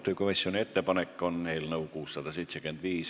Määran eelnõu muudatusettepanekute esitamise tähtajaks 3. oktoobri kell 17.15.